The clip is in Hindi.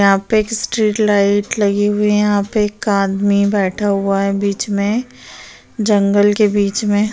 यहाँ पे एक स्ट्रीट लाइट लगी हुई है यहाँ पे एक आदमी बैठा हुआ है बीच मे जंगल के बीच मे--